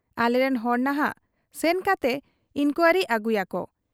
ᱟᱞᱮᱨᱮᱱ ᱦᱚᱲ ᱱᱷᱟᱜ ᱥᱮᱱ ᱠᱟᱛᱮ ᱤᱱᱠᱣᱟᱨᱤ ᱟᱹᱜᱩᱭᱟᱠᱚ ᱾